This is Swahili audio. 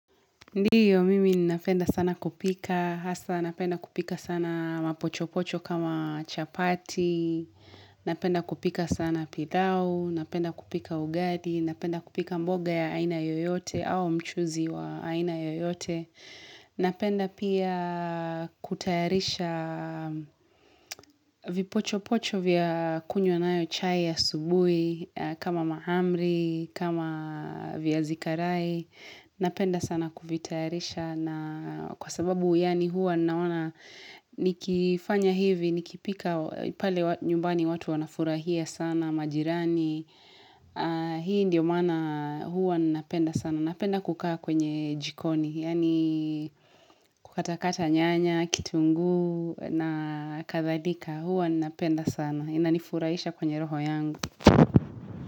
Ndiyo mimi ninapenda sana kupika hasa napenda kupika sana mapochopocho kama chapati napenda kupika sana pilau napenda kupika ugali napenda kupika mboga ya aina yoyote au mchuzi wa aina yoyote Napenda pia kutayarisha vipochopocho vya kunywa nayo chai asubui kama mahamri kama vyazi karai Napenda sana kuvitayarisha na Kwa sababu yani huwa naona nikifanya hivi nikipika pale nyumbani watu wanafurahia sana majirani Hii ndio maana huwa napenda sana napenda kukaa kwenye jikoni yani kukatakata nyanya kitunguu na kadhalika huwa napenda sana inanifurahisha kwenye roho yangu.